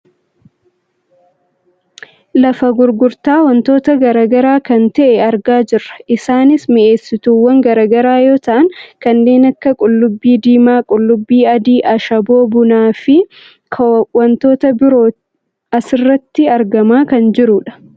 lafa gurgurtaa wantoota gara garaa kan ta'e argaa jirra. isaaanis mi'eessituuwwan gara garaa yoo ta'an kanneen akka qullubbii diimaa , qullubbii adii, ashaboo, bunaafi kwantoota birootu asirratti argamaa kan jirudha.